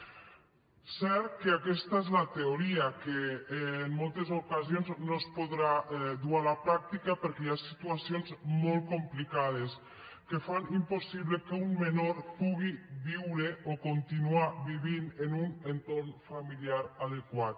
és cert que aquesta és la teoria que en moltes ocasions no es podrà dur a la pràctica perquè hi ha situacions molt complicades que fan impossible que un menor pugui viure o continuar vivint en un entorn familiar adequat